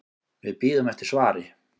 Við bíðum eftir svari.